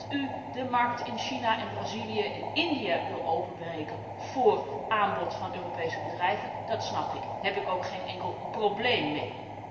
Dat u de markt in China, Brazilië en India wil openbreken voor aanbod van Europese bedrijven, dat snap ik, daar heb ik ook geen enkel probleem mee.